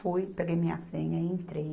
Fui, peguei minha senha e entrei.